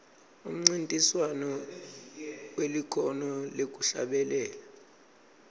umncintiswano welikhono lekuhlabelela